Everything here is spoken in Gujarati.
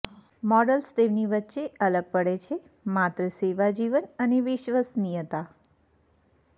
મોડલ્સ તેમની વચ્ચે અલગ પડે છે માત્ર સેવા જીવન અને વિશ્વસનીયતા